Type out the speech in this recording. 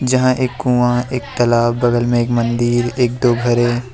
यहां एक कुआं एक तालाब बगल में एक मंदिर एक दो घर हैं।